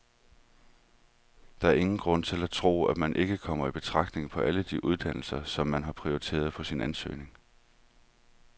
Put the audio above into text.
Der er ingen grund til at tro, at man ikke kommer i betragtning på alle de uddannelser, som man har prioriteret på sin ansøgning.